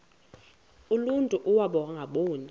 uluntu iwaba ngaboni